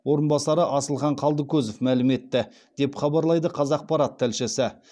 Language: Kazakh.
орынбасары асылхан қалдыкозов мәлім етті деп хабарлайды қазақпарат тілшісі